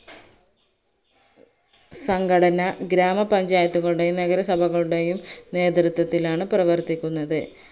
സംഘടന ഗ്രാമപഞ്ചായത്തുകളുടെയും നഗരസഭയുടെയും നേതൃത്വത്തിലാണ് പ്രവർത്തിക്കുന്നത്